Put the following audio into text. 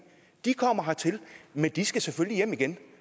kommer hertil men de skal selvfølgelig hjem igen